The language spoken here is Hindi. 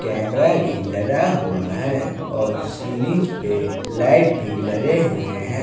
कैमरा भी लदा हुआ है और सीलिंस में लाइट भी लदे हुए हैं।